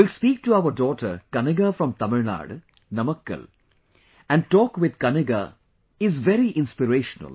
Will speak to our daughter Kaniga from Tamilnadu, Namakkal and talk with Kaniga is very inspirational